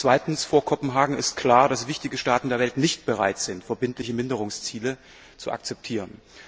Zweitens Vor Kopenhagen ist klar, dass wichtige Staaten der Welt nicht bereit sind, verbindliche Reduktionsziele zu akzeptieren.